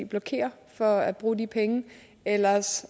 blokerer for at bruge de penge ellers